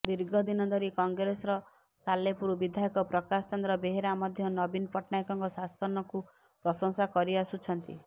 ଦୀର୍ଘଦିନ ଧରି କଂଗ୍ରେସର ସାଲେପୁର ବିଧାୟକ ପ୍ରକାଶ ଚନ୍ଦ୍ର ବେହେରା ମଧ୍ୟ ନବୀନ ପଟ୍ଟନାୟକଙ୍କ ଶାସନକୁ ପ୍ରଶଂସା କରିଆସୁଛନ୍ତି